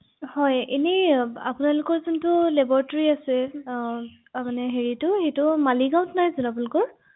booking